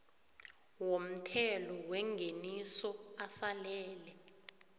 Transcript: womthelo wengeniso asalele